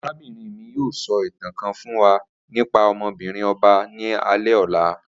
Arabinrin mi yoo sọ itan kan fun wa nipa ọmọ-binrin ọba ni alẹ ọla